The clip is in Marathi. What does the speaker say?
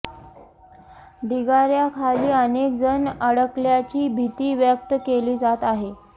ढिगाऱ्याखाली अनेक जण अडकल्याची भीती व्यक्त केली जात आहे